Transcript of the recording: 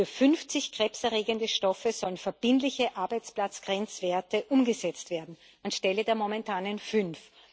Für 50 krebserregende Stoffe sollen verbindliche Arbeitsplatzgrenzwerte umgesetzt werden, anstelle der momentanen fünf.